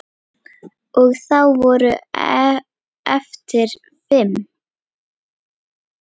Og þá voru eftir fimm.